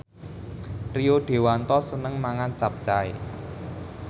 Rio Dewanto seneng mangan capcay